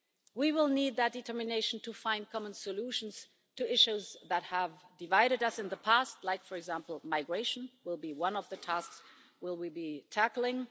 We will need that determination to find common solutions to issues that have divided us in the past like, for example, migration, which will be one of the tasks we will be tackling.